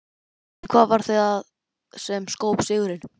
En hvað varð það sem skóp sigurinn?